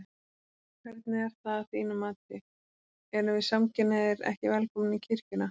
Hvernig er það að þínu mati, erum við samkynhneigðir ekki velkomnir í kirkjuna?